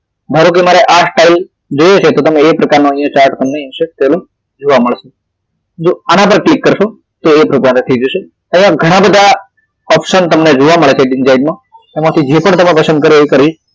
ધારો કે મારે આ style જોઈએ છે તો મારે એ પ્રકારનો અહિયાં chart તમને insert થયેલો તમને જોવા મળશે તો આના પર ક્લિક કરશો તો એ પ્રમાણે થઈ જશે અહિયાં ઘણા બધા option તમને જોવા મળે છે menubar માં